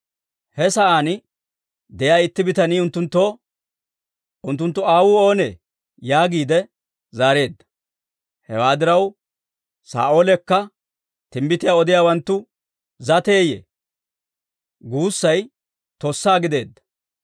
He sa'aan de'iyaa itti bitanii unttunttoo, «Unttunttu aawuu oonee?» yaagiide zaareedda. Hewaa diraw, «Saa'oolekka timbbitiyaa odiyaawanttu zateeyye?» guussay tossa gideedda.